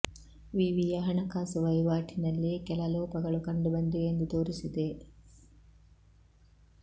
ವಿವಿಯ ಹಣಕಾಸು ವಹಿವಾಟಿನಲ್ಲಿ ಕೆಲ ಲೋಪಗಳು ಕಂಡು ಬಂದಿವೆ ಎಂದು ತೋರಿಸಿದೆ